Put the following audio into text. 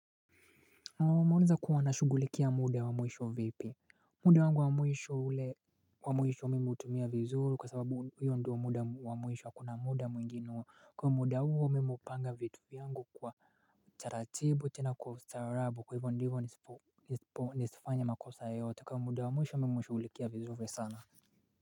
Naam wameuliza kuwa nashugulikia muda wa mwisho vipi muda wangu wa mwisho ule wa mwisho mimi hutumia vizuru kwa sababu huyo ndio wa muda wa mwisho akuna muda mwingine kwa muda huo mimi upanga vitu vyangu kwa taratibu tena kwa ustaarabu kwa hivyo ndivo nisipo nisifanye makosa yoyote kwa muda wa mwisho mimi hushugulikia vizuri sana.